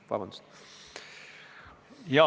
Vabandust!